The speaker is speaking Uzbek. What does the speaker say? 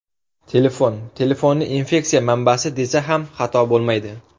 Telefon Telefonni infeksiya manbasi desa ham xato bo‘lmaydi.